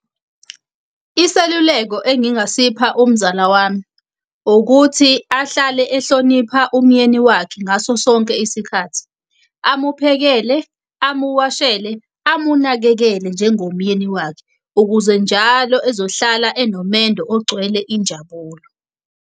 Iseluleko engingasipha umzala wami, ukuthi ahlale ehlonipha umyeni wakhe ngaso sonke isikhathi. Amuphekele, amuwashele, amunakekele njengomyeni wakhe. Ukuze njalo ezohlala enomendo ogcwele injabulo.